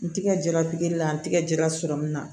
N tɛgɛ jɛra pikiri la n tɛgɛ jra na